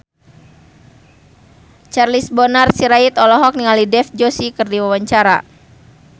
Charles Bonar Sirait olohok ningali Dev Joshi keur diwawancara